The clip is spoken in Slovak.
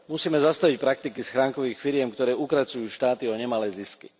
Musíme zastaviť praktiky schránkových firiem, ktoré ukracujú štáty o nemalé zisky.